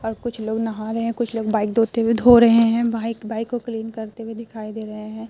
और कुछ लोग नहा रहे हैं कुछ लोग बाइक धोते हुए धो रहे हैं बाइक बाइक को क्लीन करते हुए दिखाई दे रहे हैं।